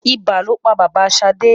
Ibà lo pa bàbá Ṣadé.